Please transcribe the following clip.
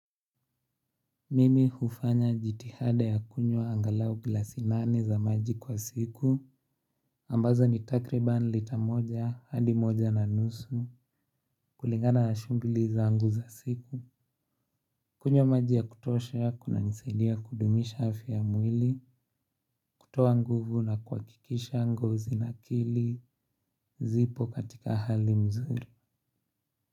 Mimi hufanya jitihada ya kunywa angalau gilasi nane za maji kwa siku, ambazo ni takriban lita moja hadi moja na nusu kulingana na shughuli zangu za siku. Kunywa maji ya kutosha kuna nisaidia kudumisha afya mwili, kutoa nguvu na kuwakikisha ngozi na akili, zipo katika hali mzuri.